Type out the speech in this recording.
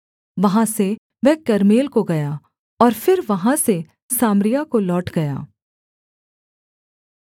वहाँ से वह कर्मेल को गया और फिर वहाँ से सामरिया को लौट गया